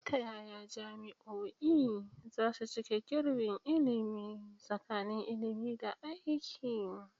Ta yaya jami'o'i za su cike gibin ilimi tsakanin ilimi da aiki?